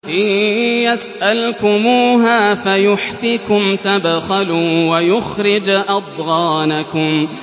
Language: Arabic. إِن يَسْأَلْكُمُوهَا فَيُحْفِكُمْ تَبْخَلُوا وَيُخْرِجْ أَضْغَانَكُمْ